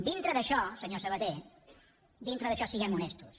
dintre d’això senyor sabaté dintre d’això siguem honestos